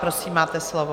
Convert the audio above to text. Prosím, máte slovo.